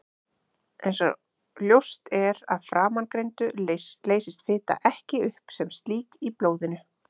Eins og ljóst er af framangreindu leysist fita ekki upp sem slík í blóðinu.